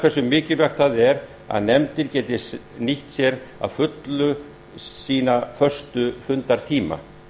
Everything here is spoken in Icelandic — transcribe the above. hversu mikilvægt það er að nefndir geti nýtt sér að fullu sína föstu fundartíma